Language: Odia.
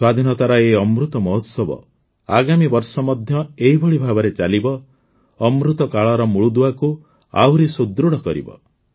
ସ୍ୱାଧୀନତାର ଏହି ଅମୃତ ମହୋତ୍ସବ ଆଗାମୀ ବର୍ଷ ମଧ୍ୟ ଏହିଭଳି ଭାବରେ ଚାଲିବ ଅମୃତକାଳର ମୂଳଦୁଆକୁ ଆହୁରି ସୁଦୃଢ଼ କରିବ